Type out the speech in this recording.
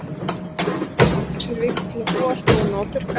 Amma fær konu tvisvar í viku til að þvo allt, bóna og þurrka af.